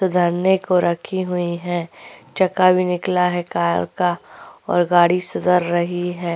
सुधारने को रखी हुई है चक्का भी निकला है कार का और गाड़ी सुधर रही है।